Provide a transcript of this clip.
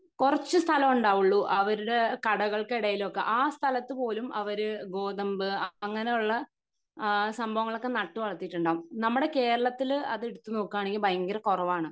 കൊറച്ച് സ്ഥലം ഉണ്ടാവൊള്ളൂ അവരുടെ കടകൾക്കിടയിലൊക്കെ ആ സ്ഥലത്ത് പോലും അവര് ഗോതമ്പ് അങ്ങിനെ ഉള്ള അഹ് സംഭവങ്ങളൊക്കെ നട്ട് വളർത്തിയിട്ടുണ്ടാവും നമ്മുടെ കേരളത്തിൽ അത് വെച്ചിട്ട് നോക്കുവാണെങ്കി ഭയങ്കര കുറവാണ്